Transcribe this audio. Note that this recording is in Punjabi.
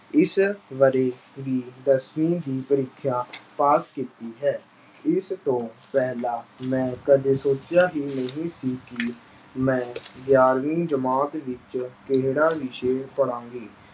ਇਸ ਵਰ੍ਹੇ ਦੀ ਦਸਵੀਂ ਦੀ ਪ੍ਰੀਖਿਆ ਪਾਸ ਕੀਤੀ ਹੈ। ਇਸ ਤੋਂ ਪਹਿਲਾਂ ਮੈਂ ਕਦੇ ਸੋਚਿਆ ਹੀ ਨਹੀਂ ਸੀ ਕਿ ਮੈਂ ਗਿਆਰ੍ਹਵੀਂ ਜਮਾਤ ਵਿੱਚ ਕਿਹੜਾ ਵਿਸ਼ਾ ਪੜ੍ਹਾਂਗੇ।